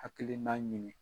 Hakilina ɲinini